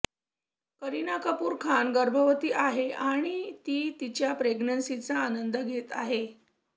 करीना कपूर खान गर्भवती आहे आणि ती तिच्या प्रेग्नन्सीचा आनंद घेत आहे